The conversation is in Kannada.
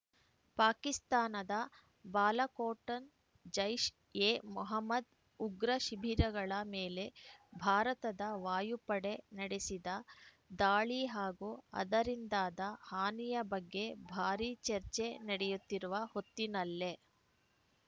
ಪಾಕಿಸ್ತಾನದ ಬಾಲಾಕೋಟ್‌ನ ಜೈಷ್‌ಎಮೊಹಮ್ಮದ್‌ ಉಗ್ರ ಶಿಬಿರಗಳ ಮೇಲೆ ಭಾರತದ ವಾಯುಪಡೆ ನಡೆಸಿದ ದಾಳಿ ಹಾಗೂ ಅದರಿಂದಾದ ಹಾನಿಯ ಬಗ್ಗೆ ಭಾರೀ ಚರ್ಚೆ ನಡೆಯುತ್ತಿರುವ ಹೊತ್ತಿನಲ್ಲೇ